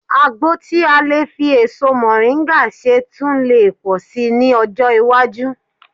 Àgbo tí a lè fi èso mọ̀ríńgà ṣe tun lè pọ̀ sí i ní ọjọ́ iwájú